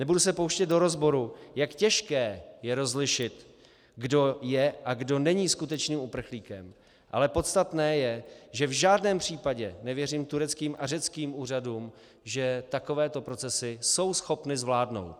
Nebudu se pouštět do rozboru, jak těžké je rozlišit, kdo je a kdo není skutečným uprchlíkem, ale podstatné je, že v žádném případě nevěřím tureckým a řeckým úřadům, že takovéto procesy jsou schopny zvládnout.